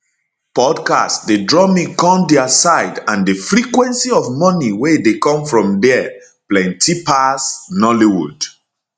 podcast dey draw me come dia side and di frequency of money wey dey come from dia plenti pass nollywood